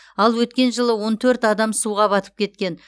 ал өткен жылы он төрт адам суға батып кеткен